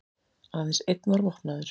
Aðeins einn var vopnaður